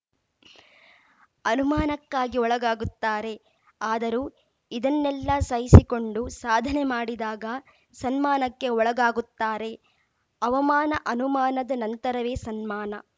ಅನುಮಾನಕ್ಕಾಗಿ ಒಳಗಾಗುತ್ತಾರೆ ಅದರೂ ಇದನ್ನೆಲ್ಲಾ ಸಹಿಸಿಕೊಂಡು ಸಾಧನೆ ಮಾಡಿದಾಗ ಸನ್ಮಾನಕ್ಕೆ ಒಳಗಾಗುತ್ತಾರೆ ಅವಮಾನ ಅನುಮಾನದ ನಂತರವೇ ಸನ್ಮಾನ